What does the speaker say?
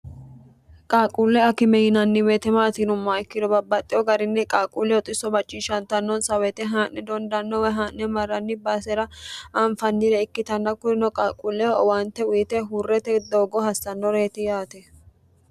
qaaqquulle akime yinanni weete maati yinummohaa ikkiro babbaxxeho garinni qaaquulleho xisso macciishshantannonsa woyte haa'ne dondann woy haa'ne marranni baasera aanfannire ikkitanna kurino qaquulleho owaante uyite huurrete doogo hassannoreyeti yaate